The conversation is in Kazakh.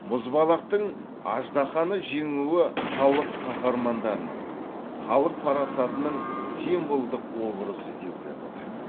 мұзбалақтың аждаһаны жеңуі халық қахармандарының халық парасатының символдық образы деуге болады